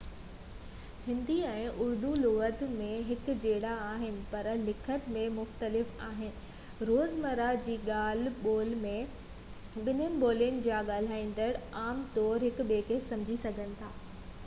هندي ۽ اردو لُغت ۾ هڪجهڙا آهن پر لکت ۾ مختلف آهن روزمره جي ڳالهه ٻولهه ۾ ٻنهي ٻولين جا ڳالهائيندڙ عام طور هڪ ٻئي کي سمجهي سگهن ٿا